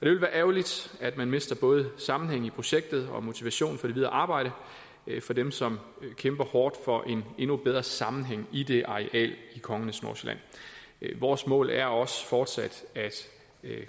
vil være ærgerligt at man mister både sammenhæng i projektet og motivation for det videre arbejde for dem som kæmper hårdt for en endnu bedre sammenhæng i det areal i kongernes nordsjælland vores mål er også fortsat at